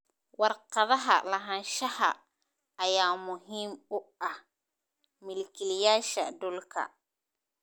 Warqadaha lahaanshaha ayaa muhiim u ah milkiilayaasha dhulka.